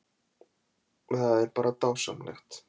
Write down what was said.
Það er bara dásamlegt